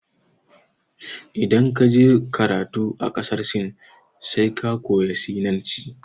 Idan ka je karatu a ƙasar Sin sai ka koya Sinanci.